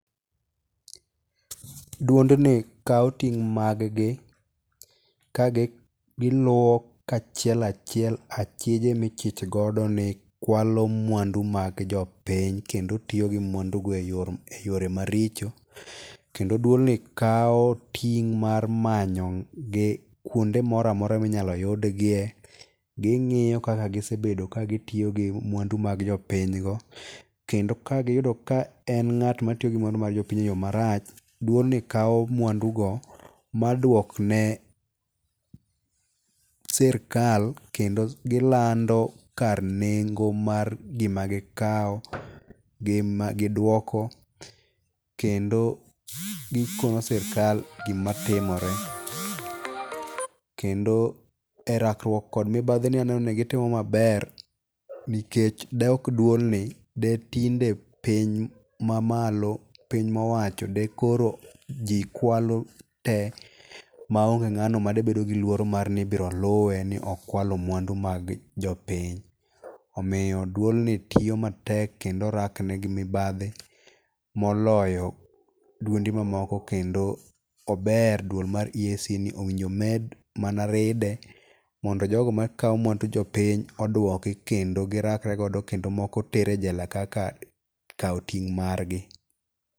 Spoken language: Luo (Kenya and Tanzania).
Duond ni kao ting' mag gi, ka giluo kachiel achiel achieje michich godo ni kwalo mwandu mag jopiny, kendo tiyo gi mwandu go e yor e yore maricho. Kendo duol ni kao ting' mar manyo gi kuonde moramora minyalo yudgie. Ging'iyo kaka gisebedo ka gitiyo gi mwandu mag jopiny go. Kendo ka giyudo ka en ng'at ma tiyo gi mwandu mar jopiny e yo marach, duol ni kao mwandu go maduok ne sirkal, kendo gilando kar nengo mar gima gikao, gi ma giduoko. Kendo gikono sirkal gima timore. Kendo e rakruok kod mibadhi ni aneno ni gitimo gima ber nikech de ok duol ni, de tinde piny mamalo, piny mowacho de koro ji kwalo tee ma onge ng'ano ma debedo gi luoro mar ni ibiro luwe ni okwalo mwandu mag jopiny. Omiyo, duol ni tiyo matek kendo rakne gi mibadhi, moloyo duonde mamoko, kendo ober duol mar EACC ni. Owinjo med mana ride mondo jogo makao mwandu jopiny odwoki kendo girakre godo kendo moko ter e jela kaka kao ting' margi.